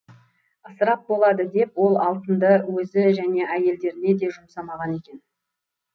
ысырап болады деп ол алтынды өзі және әйелдеріне де жұмсамаған екен